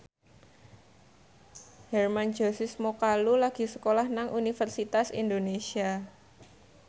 Hermann Josis Mokalu lagi sekolah nang Universitas Indonesia